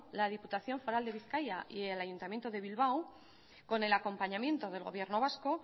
la diputación foral de bizkaia y el ayuntamiento de bilbao con el acompañamiento del gobierno vasco